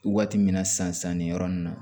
Waati min na san san nin yɔrɔ nin na